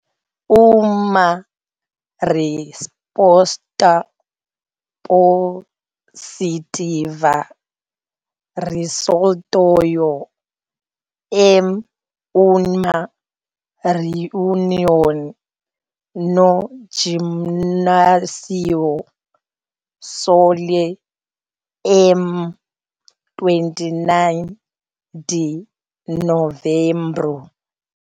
Uma resposta positiva resultou em uma reunião no "Gimnasio Solé", em 29 de novembro.